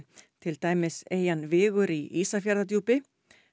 til dæmis eyjan Vigur í Ísafjarðardjúpi